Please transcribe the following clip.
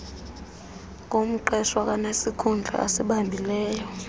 ngumqeshwa kwanesikhundla asibambileyo